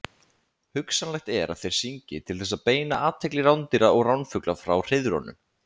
Hugsanlegt er að þeir syngi til þess að beina athygli rándýra og ránfugla frá hreiðrunum.